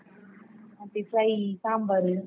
ಮತ್ತೆ fry , ಸಾಂಬಾರ್.